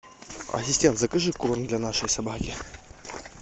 ассистент закажи корм для нашей собаки